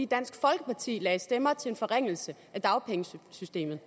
dansk folkeparti lagde stemmer til en forringelse af dagpengesystemet